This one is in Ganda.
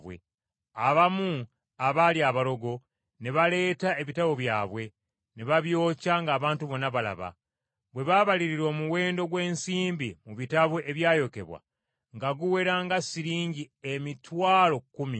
Abamu abaali abalogo ne baleeta ebitabo byabwe ne babyokya ng’abantu bonna balaba. Bwe baabalirira omuwendo gw’ensimbi mu bitabo ebyayokebwa, nga guwera nga siringi emitwalo kkumi.